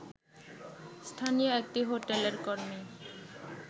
স্থানীয় একটি হোটেলের কর্মী